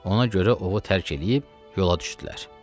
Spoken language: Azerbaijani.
Ona görə ovu tərk eləyib yola düşdülər.